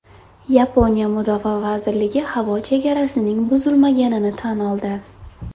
Yaponiya mudofaa vazirligi havo chegarasining buzilmaganini tan oldi.